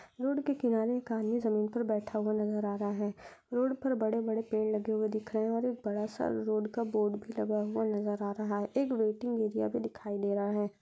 road के किनारे खाली जमीन पर बैठा हुआ नजर आ रहा है रोड पर बड़े बड़े पेड़ लगे हुए दिख रहे हैं और एक बड़ा सा रोड का बोर्ड भी लगा हुआ नज़र आ रहा है एक वेटिंग एरिया भी दिखाई दे रहा--